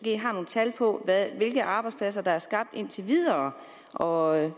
nogle tal på hvilke arbejdspladser der er skabt indtil videre og